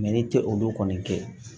ne tɛ olu kɔni kɛ